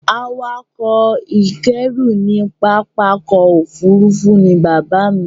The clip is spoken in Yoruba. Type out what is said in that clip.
Awakọ̀ ìkẹ́rú ní pápákọ̀ òfurufú ni bàbáà mi.